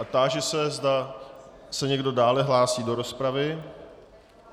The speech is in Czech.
A táži se, zda se někdo dále hlásí do rozpravy.